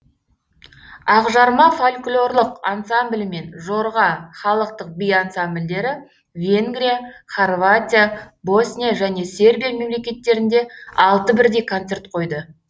ақжарма фольклорлық ансамблі мен жорға халықтық би ансамбльдері венгрия хорватия босния және сербия мемлекеттерінде алты бірдей концерт қойды